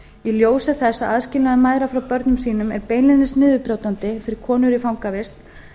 í ljósi þess að aðskilnaður mæðra frá börnum sínum er beinlínis niðurbrjótandi fyrir konur í fangavist